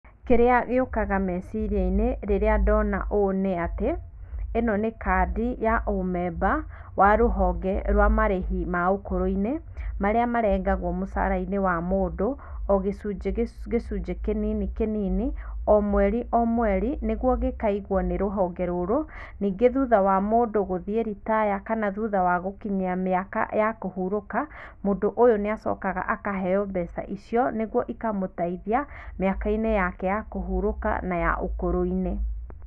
Kĩrĩa gĩũkaga meciria -inĩ rĩrĩa ndona ũũ nĩ atĩ, ĩno nĩ kandi ya ũ member wa rũhonge rwa marĩhi ma ũkũrũ-inĩ, marĩa marengagwo mũcara-inĩ wa mũndũ o gĩcunjĩ kĩnini kĩnini o mweri o mweri nĩguo gĩkaigwo nĩ rũhonge rũrũ ningĩ thutha wa mũndũ gũthiĩ retire kana thutha wa gũkinyia mĩaka ya kũhurũka, mũndũ ũyũ nĩ acokaga akaheo mbeca icio nĩguo ikamũteithia mĩaka-inĩ yake ya kũhurũka na ya ũkũrũ-inĩ